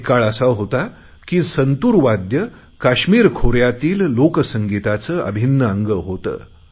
एक काळ असा होता की संतुर वाद्य काश्मिर खोऱ्यातील लोकसंगीताचे अभिन्न अंग होते